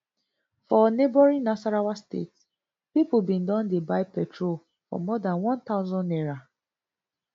for neighbouring nasarawa state pipo bin don dey buy petrol for more dan one thousand naira